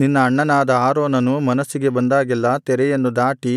ನಿನ್ನ ಅಣ್ಣನಾದ ಆರೋನನು ಮನಸ್ಸಿಗೆ ಬಂದಾಗೆಲ್ಲಾ ತೆರೆಯನ್ನು ದಾಟಿ